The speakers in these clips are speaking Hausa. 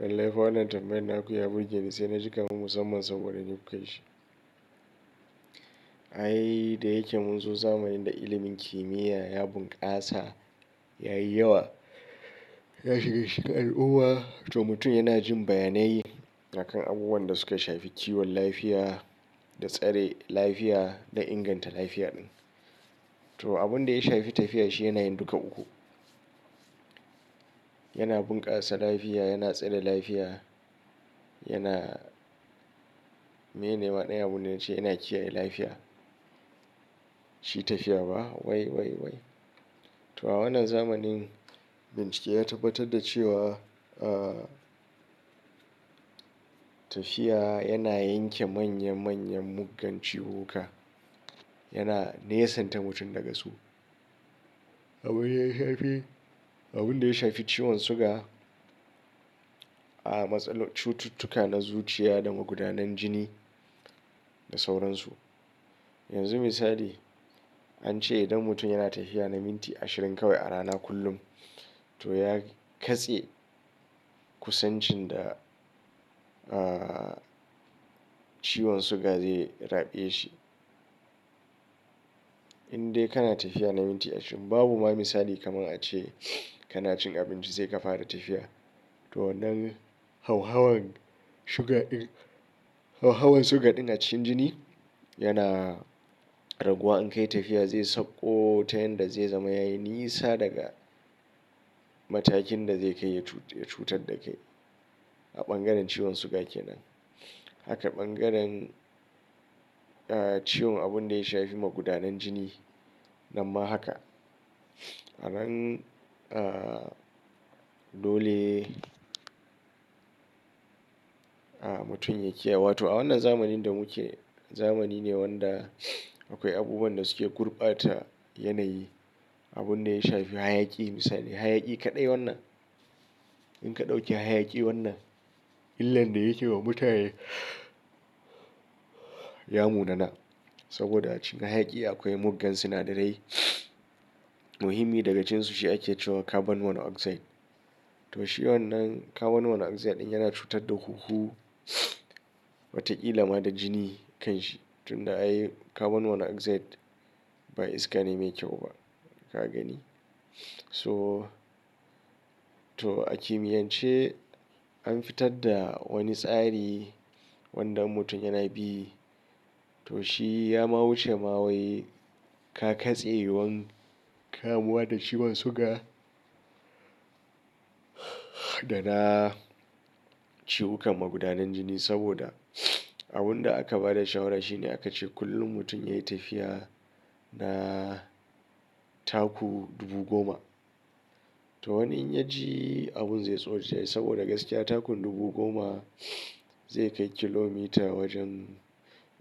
Sai naga wannan tambayan naku ya burgeni sai naji kamar musamman saboda ni kuka yi shi. Ai da yake munzo zamanin da ilimin kimiyya ya bunƙasa, yayi yawa, ya shiga cikin al'umma to mutum yana jin bayanai akan abubuwan da suka shafi kiwon lafiya, da tsare lafiya da inganta lafiya ɗin. To abun da ya shafi tafiya shi yana yin duka uku. Yana bunƙasa lafiya, yana tsare lafiya, yana mene ma ɗaya abun da na ce yana kiyaye lafiya. Shi tafiya ba? Wai! Wai! Wai! To a wannan zamanin bincike ya tabbatar da cewa, ah, tafiya yana yanke manya-manyan muggan ciwuwwuka. Yana nesanta mutum daga su. Abin ya shafi, abun da ya shafi ciwon suga, a'a matsalar cututtuka na zuciya da magudanan jini da sauransu. Yanzu misali an ce idan mutum yana tafiya na minti ashirin kawai a rana kullum to ya katse kusancin da, ah, ciwon suga zai rabe shi. In dai kana tafiya na minti ashirin, babu ma misali kamar a ce kana cin abinci zai ka fara tafiya. To wannan hauhawan suga din, hauhawan suga din a cikin jini yana raguwa in ka yi tafiya zai sakko ta yanda zai zama yayi nisa daga matakin da zai kai ya cutar da kai a bangaren ciwon suga ke nan. Haka bangaren, ah, ciwon abun da ya shafi magudanan jini, namma haka. Anan, ah, dole, ah, mutum ya kiyaya to a wannan zamanin da muke, zamani ne wanda akwai abubuwan da suke gurɓata yanayi. Abun da ya shafi hayaƙi misali, hayaƙi kaɗai wannan. In ka ɗauki hayaƙi wannan illar da yake wa mutane ya mu na nan. Saboda a cikin hayaƙi akwai muggan sinadarai muhimmi daga cikin su shi ake cewa carbon monoxide. To shi wannan carbon monoxide din yana cutar da huhu, wataƙila ma da jini kanshi. Tun da ai carbon monoxide ba iska ne mai kyau ba ka gani. So to a kimiyance an fitar da wani tsari wanda mutum yana bi. To shi ya ma wuce ma wai ka katse yiwuwar kamuwa da ciwon suga da na ciwukan magudanan jini saboda abun da aka ba da shawara shine aka ce kullum mutum yayi tafiya na taku dubu goma. To wannan in ya ji abun zai tsorata shi saboda gaskiya taku dubu goma zai kai kilomita wajen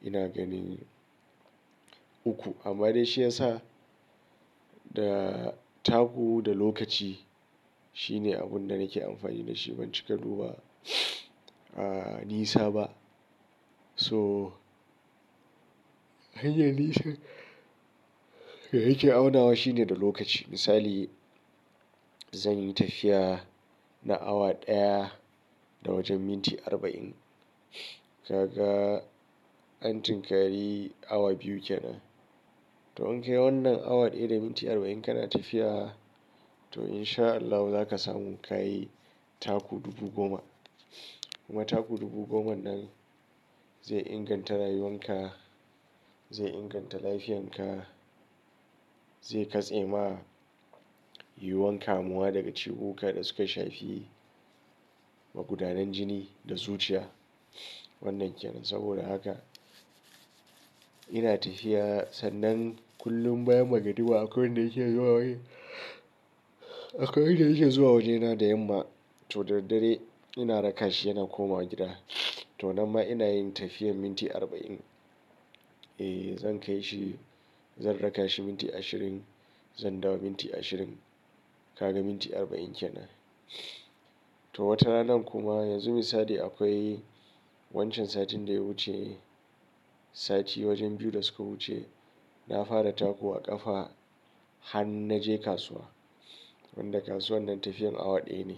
ina gani uku. Amma dai shi yasa da taku da lokaci shine abun da nake amfani da shi ban cika dubar, ah, nisa ba. So hanyar nisan da yake aunawa shine da lokaci. Misali zan yi tafiya na awa ɗaya da wajen minti arba'in. Kaga an tunkari awa biyu ke nan. To in kai wannan awa daya da minti arba'in kana tafiya to in sha Allah zaka san ka yi taku dubu goma. Kuma taku dubu goma nan zai inganta rayuwan ka, zai inganta lafiyan ka, zai katse ma yiwuwar kamuwa daga ciwuka da suka shafi magudanan jini da zuciya wannan ke nan. Saboda haka ina tafiya sannan kullum bayan magariba akwai wanda yake zuwa waje, akwai wanda yake zuwa wajena da yamma to da daddare ina raka shi yana komawa gida. To nan ma ina yin tafiyar minti arba'in. Eh zan kai shi, zan raka shi minti ashirin, zan dawo minti ashirin. Kaga minti arba'in ke nan. To watarana kuma yanzu misali akwai wancan satin da ya wuce sati wajen biyu da suka wuce na fara taku a ƙafa har na je kasuwa. Wanda kasuwan nan tafiyar awa ɗaya ne.